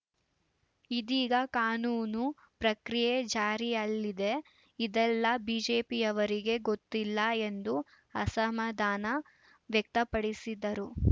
ಇದೀಗ ಕಾನೂನು ಪ್ರಕ್ರಿಯೆ ಜಾರಿಯಲ್ಲಿದೆ ಇದೆಲ್ಲಾ ಬಿಜೆಪಿಯವರಿಗೆ ಗೊತ್ತಿಲ್ಲ ಎಂದು ಅಸಮಾಧಾನ ವ್ಯಕ್ತಪಡಿಸಿದರು